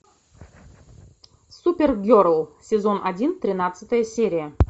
супергерл сезон один тринадцатая серия